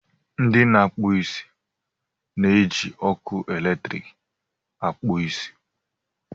ndị na-akpụ isi na-eji ọkụ eletrik akpụ isi